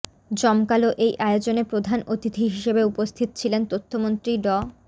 জমকালো এই আয়োজনে প্রধান অতিথি হিসেবে উপস্থিত ছিলেন তথ্যমন্ত্রী ড